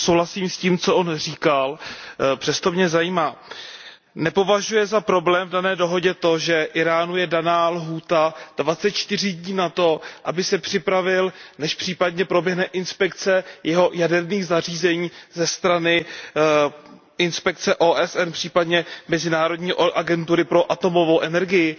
Souhlasím s tím, co říkal, přesto mě zajímá, zda nepovažuje za problém v dané dohodě to, že Íránu je dána lhůta dvaceti čtyři dní na to, aby se připravil, než případně proběhne inspekce jeho jaderných zařízení ze strany inspekce OSN, případně mezinárodní agentury pro atomovou energii.